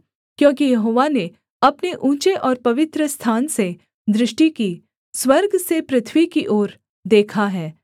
क्योंकि यहोवा ने अपने ऊँचे और पवित्रस्थान से दृष्टि की स्वर्ग से पृथ्वी की ओर देखा है